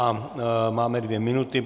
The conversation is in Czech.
A máme dvě minuty.